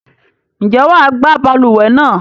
Ǹjẹ́ wà á gbá balùwẹ̀ náà?